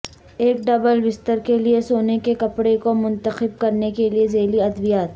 ایک ڈبل بستر کے لئے سونے کے کپڑے کو منتخب کرنے کے ذیلی ادویات